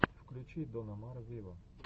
включи дон омар виво